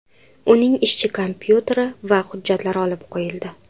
Uning ishchi kompyuteri va hujjatlari olib qo‘yildi.